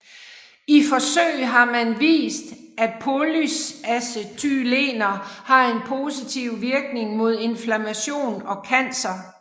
I forsøg har man vist at polyacetylener har en positiv virkning mod inflammation og cancer